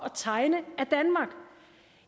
at tegne